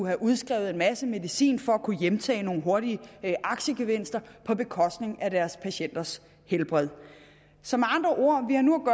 have udskrevet en masse medicin for at kunne hjemtage nogle hurtige aktiegevinster på bekostning af deres patienters helbred så med andre ord